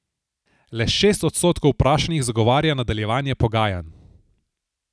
Le šest odstotkov vprašanih zagovarja nadaljevanje pogajanj.